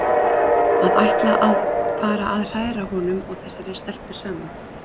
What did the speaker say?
Að ætla að fara að hræra honum og þessari stelpu saman!